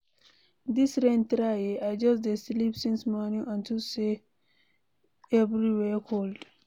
Dis rain try eh, I just dey sleep since morning unto say everywhere cold.